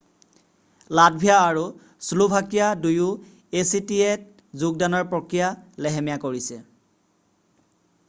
Latvia আৰু Slovakia দুয়ো actaত যোগদানৰ প্ৰক্ৰিয়া লেহেমীয়া কৰিছে।